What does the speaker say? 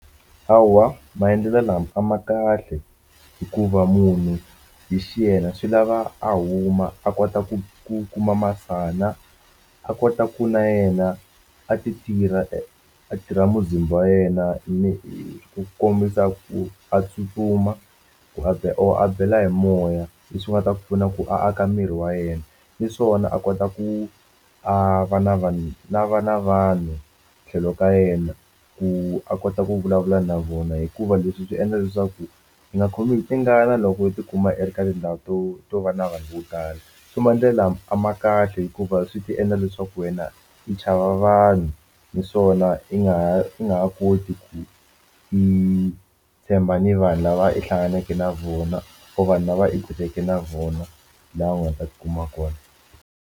Hawa maendlelo lama a ma kahle hikuva munhu hi xiyena swi lava a huma a kota ku ku kuma masana a kota ku na yena a ti tirha a tirha muzimba wa yena ni ku kombisa ku a tsutsuma ku a or a bela hi moya leswi nga ta ku pfuna ku aka miri wa yena naswona a kota ku a va na vanhu na va na vanhu tlhelo ka yena ku a kota ku vulavula na vona hikuva leswi swi endla leswaku hi nga khomi hi tingana loko u tikuma u ri ka tindhawu to to va na vanhu vo tala so maendlelo lama a ma kahle hikuva swi ta endla leswaku wena i chava vanhu niswona i nga ha i nga ha koti ku yi tshemba ni vanhu lava i hlanganeke na vona or vanhu lava i kuleke na vona laha u nga ta tikuma kona.